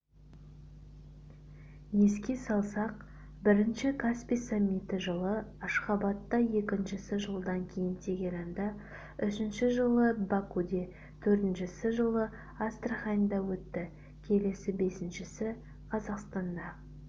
еске салсақ бірінші каспий саммиті жылы ашхабадта екіншісі жылдан кейін тегеранда үшіншісі жылы бакуде төртіншісі жылы астраханьда өтті келесі бесіншісі казахстанда